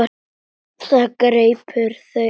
Það greip þau æði.